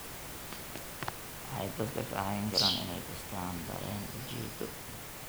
Waxay dadka ka caawin karaan inay dhistaan ??dareen ujeedo.